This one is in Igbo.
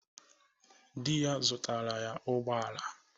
Di ya zụtara ya ụgbọ ala.